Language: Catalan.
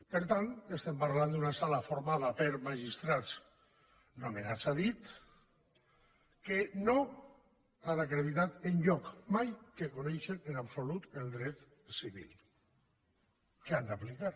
per tant estem parlant d’una sala formada per magistrats nomenats a dit que no han acreditat enlloc mai que coneixen en absolut el dret civil que han d’aplicar